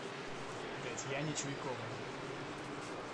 татьяне чуйковой